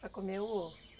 Para comer o ovo?